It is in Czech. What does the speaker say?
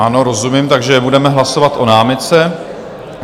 Ano, rozumím, takže budeme hlasovat o námitce.